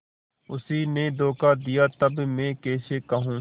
उसी ने धोखा दिया तब मैं कैसे कहूँ